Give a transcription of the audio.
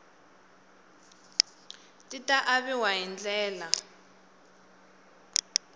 ti ta aviwa hi ndlela